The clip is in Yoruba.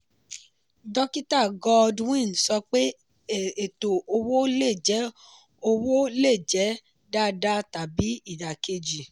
dókítà goodwin sọ pé ètò owó le jẹ́ owó le jẹ́ dáadáa tàbí ìdá kejì.